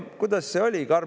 Kuidas see oli?